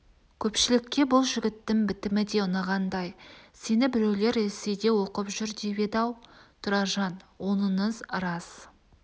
көпшілікке бұл жігіттің бітімі де ұнағандай сені біреулер ресейде оқып жүр деп еді-ау тұраржан оныңыз рас